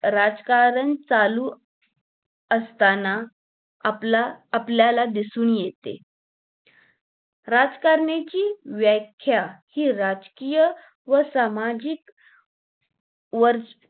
राजकारण चालू असताना आपला आपल्याला दिसून येते राजकारणाची व्याख्या हि राजकीय व सामाजिक वर्च